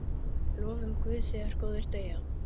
Lofum Guð þegar góðir deyja.